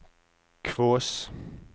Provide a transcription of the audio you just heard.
Kvås